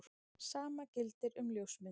Sama gildir um ljósmyndir.